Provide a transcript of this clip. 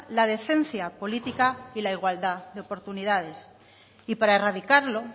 la decencia política y la igualdad de oportunidades y para erradicarlo